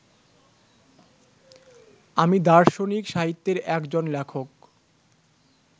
আমি দার্শনিক সাহিত্যের একজন লেখক